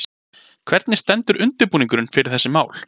Hvernig stendur undirbúningurinn fyrir þessi mál?